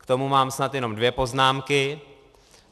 K tomu mám snad jenom dvě poznámky.